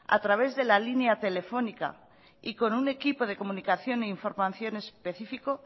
a través de la línea telefónica y con un equipo de comunicación e información específico